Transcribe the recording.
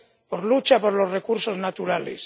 por lucha por los recursos naturales.